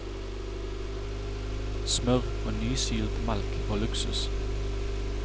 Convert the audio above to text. Smør og nysilt melk var luksus.